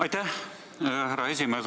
Aitäh, härra esimees!